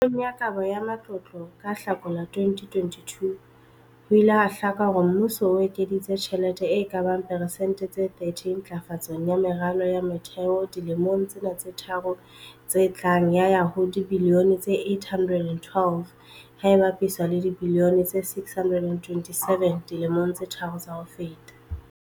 Puong ya Kabo ya Matlotlo ka Hlakola 2022, ho ile ha hlaka hore mmuso o ekeditse tjhelete e ka bang persente tse 30 ntlafatsong ya meralo ya motheo dilemong tsena tse tharo tse tlang ya ya ho dibilione tse R812, ha e bapiswa le dibilione tse R627 dilemong tse tharo tsa ho feta.